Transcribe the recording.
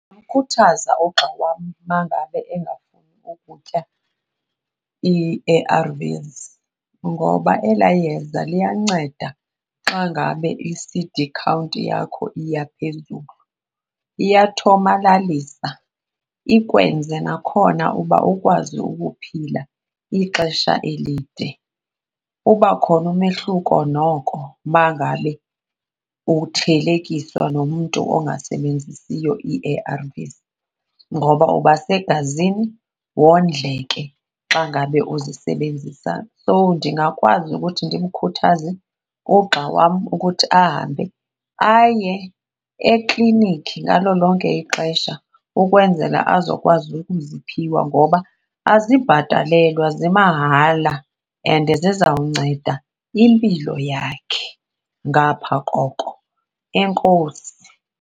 Ndingamkhuthaza ugxa wam uma ngabe engafuni ukutya ii-A_R_Vs ngoba elaa yeza liyanceda xa ngabe i-C_D count yakho iya phezulu, iyathomalalisa ikwenze nakhona uba ukwazi ukuphila ixesha elide. Uba khona umehluko noko uma ngabe uthelekiswa nomntu ungasebenzisiyo ii-A_R_Vs ngoba ubasegazini wondleke xa ngabe uzisebenzisa. So, ndingakwazi ukuthi ndimkhuthaze ugxa wam ukuthi ahambe aye eklinikhi ngalo lonke ixesha ukwenzela azokwazi ukuziphiwa ngoba azibhatalelwa zimahala and zizawunceda impilo yakhe ngapha koko. Enkosi.